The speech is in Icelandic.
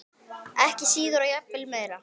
Ekki síður og jafnvel meira.